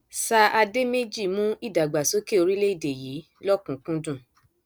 sír àdèméjì mú ìdàgbàsókè orílẹèdè yìí lọkùnúnkúndùn